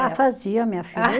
Ah, fazia, minha filha.